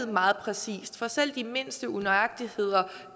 meget præcist for selv de mindste unøjagtigheder